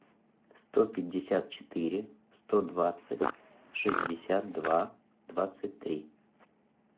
сто пятьдесят четыре сто двадцать шестьдесят два двадцать три